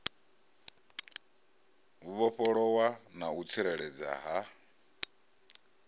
vhofholowa na u tsireledzea ha